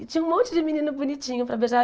E tinha um monte de menino bonitinho para beijar.